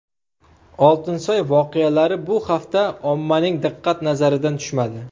Oltinsoy voqealari bu hafta ommaning diqqat nazaridan tushmadi.